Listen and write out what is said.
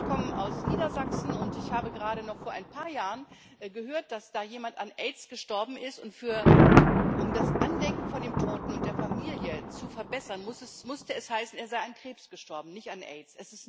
Ich komme aus Niedersachsen, und ich habe gerade noch vor ein paar Jahren gehört, dass da jemand an Aids gestorben ist, und um das Andenken an den Toten und das Ansehen der Familie zu verbessern, musste es heißen, er sei an Krebs gestorben, nicht an Aids.